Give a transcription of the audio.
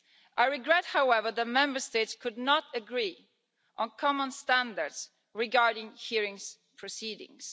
I regret, however, that Member States could not agree on common standards regarding hearings proceedings.